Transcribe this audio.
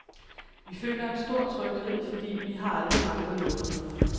Vi føler en stor tryghed, fordi vi har aldrig manglet noget.